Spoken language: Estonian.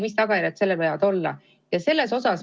Mis tagajärjed sellel võivad olla?